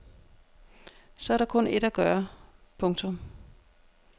Så er der kun ét at gøre. punktum